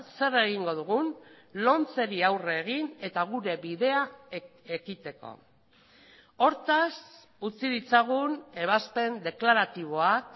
zer egingo dugun lomceri aurre egin eta gure bidea ekiteko hortaz utzi ditzagun ebazpen deklaratiboak